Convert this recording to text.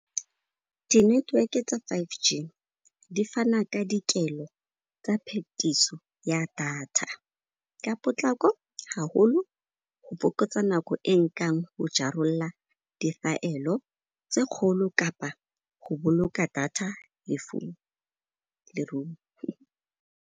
Di network-e tsa five G, di fana ka dikelo tsa phetiso ya data ka potlako ha holo ho fokotsa nako e nkang go jarolla difaelo go tse kgolo kapa go boloka data .